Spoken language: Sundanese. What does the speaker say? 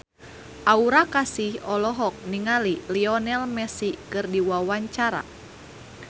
Aura Kasih olohok ningali Lionel Messi keur diwawancara